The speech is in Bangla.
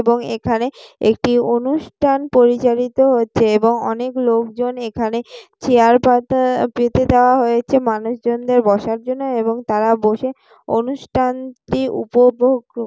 এবং এখানে একটি অনুষ্ঠান পরিচালিত হচ্ছে এবং অনেক লোকজন এখানে চেয়ার পাতা পেতে দেওয়া হয়েছে মানুষ জনদের বসার জন্য এবং তারা বসে অনুষ্ঠানটি উপভোগ --